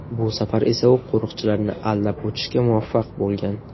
Bu safar esa u qo‘riqchilarni aldab o‘tishga muvaffaq bo‘lgan.